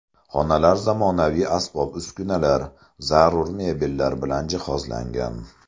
Xonalar zamonaviy asbob-uskunalar, zarur mebellar bilan jihozlangan.